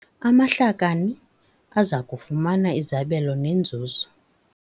Amahlakani aza kufumana izabelo nenzuzo.